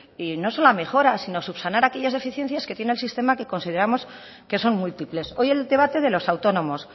y no solo mejora si no subsanar aquellas deficiencias que tiene el sistema que consideramos que son múltiples hoy el debate de los autónomos